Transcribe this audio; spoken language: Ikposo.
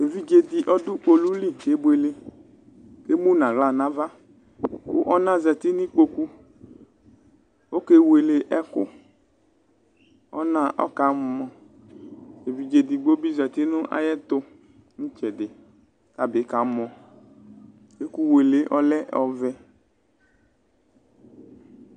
evidze di ɔdu kpolu li kebueleemu nʋ aɣla nʋ avakʋ ɔna zati nʋ ikpokuokewele ɛkʋɔna ɔkamɔɛvidze edigbo bi zati nʋ ayiʋ ɛtu, nʋ itsɛdikʋ ɔtabi kamɔɛkuwele yɛ ɔlɛ ɔvɛ